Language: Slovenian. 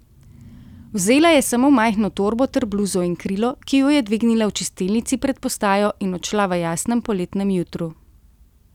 Vzela je samo majhno torbo ter bluzo in krilo, ki ju je dvignila v čistilnici pred postajo, in odšla v jasnem poletnem jutru.